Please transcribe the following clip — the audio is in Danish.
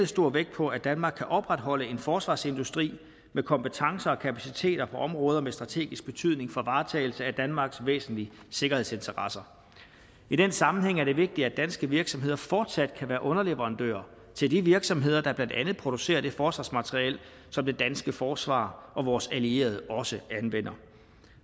stor vægt på at danmark kan opretholde en forsvarsindustri med kompetencer og kapaciteter på områder med strategisk betydning for varetagelse af danmarks væsentlige sikkerhedsinteresser i den sammenhæng er det vigtigt at danske virksomheder fortsat kan være underleverandører til de virksomheder der blandt andet producerer det forsvarsmateriel som det danske forsvar og vores allierede også anvender